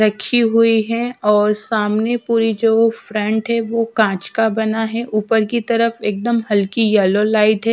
रखी हुई है और सामने पूरी जो फ्रंट है वो कांच का बना है ऊपर की तरफ एकदम हल्की येलो लाइट है।